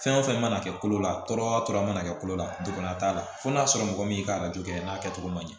Fɛn o fɛn mana kɛ kolo la tɔɔrɔ tɔɔrɔ mana kɛ kolo la degeya t'a la fo n'a sɔrɔ mɔgɔ min y'i ka kɛ n'a kɛ cogo man ɲɛ